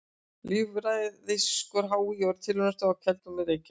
Líffræðiskor HÍ og Tilraunastöðin á Keldum, Reykjavík.